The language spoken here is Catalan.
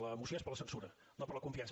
la moció és per a la censura no per a la confiança